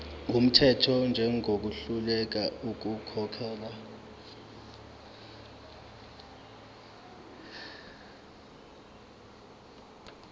wumthetho njengohluleka ukukhokhela